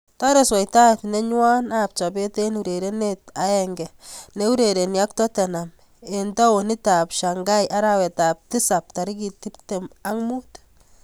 Tore swaitaet nenywon ab chopet eng urerenet aenge neurereni ak Tottenham eng taunit ab Shanghai arawet ab tisab tarikit 25.